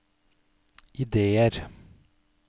ideer